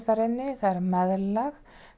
meðlag